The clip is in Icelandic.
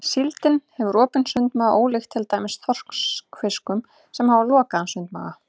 Síldin hefur opinn sundmaga ólíkt til dæmis þorskfiskum sem hafa lokaðan sundmaga.